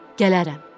Gələrəm.